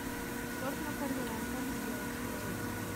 торт наполеон как сделать видео